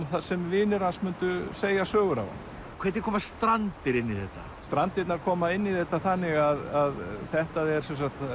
þar sem vinir hans myndu segja sögur af honum hvernig koma Strandir inn í þetta strandirnar koma inn í þetta þannig að þetta er